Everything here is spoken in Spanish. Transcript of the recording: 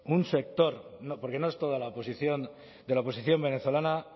un sector porque no es toda la oposición de la oposición venezolana